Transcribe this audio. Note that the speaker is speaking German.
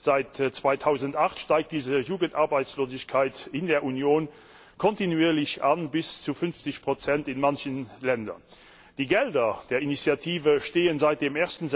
Seit 2008 steigt die Jugendarbeitslosigkeit in der Union kontinuierlich an bis zu 50 in manchen Ländern. Die Gelder der Initiative stehen seit dem